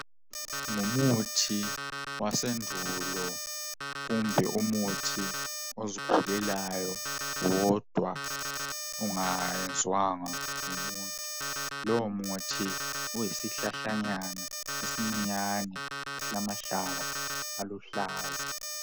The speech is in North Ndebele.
Ngumuthi wasendulo kumbe umuthi ozikhulelayo wodwa ungayenziwanga ngumuntu . Lowo muthi uyisihlahlanyana esincinyane esilamahlamvu aluhlaza .